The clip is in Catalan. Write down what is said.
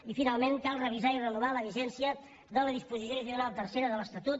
i finalment cal revisar i renovar la vigència de la disposició addicional tercera de l’estatut